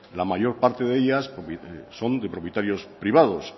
la mayor parte de ellas son de propietarios privados